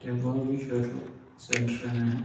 tepooki schoto ecentromere.